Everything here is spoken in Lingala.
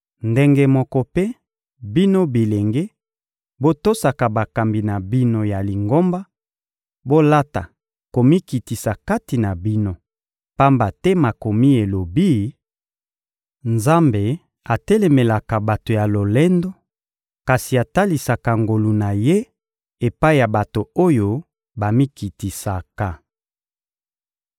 Ndenge moko mpe, bino bilenge, botosaka bakambi na bino ya Lingomba, bolata komikitisa kati na bino, pamba te Makomi elobi: «Nzambe atelemelaka bato ya lolendo, kasi atalisaka ngolu na Ye epai ya bato oyo bamikitisaka.»